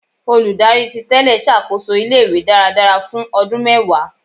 Oludari titele ṣakoso ile-iwe daradara fun ọdun mẹwa